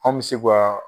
An bɛ se ka